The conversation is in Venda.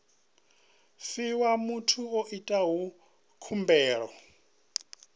fhiwa muthu o itaho khumbelo